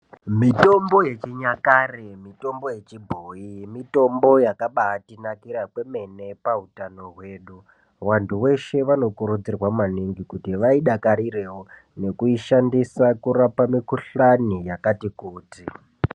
Mitombo yechinyakare mitombo yechibhoyi mitombo yakabaatinakira kwemene pautano hwedu. Vantu veshe vanokurudzirwa maningi kuti vaidakarirewo, nekuishandisa kurapa mikhuhlani yakati kuti.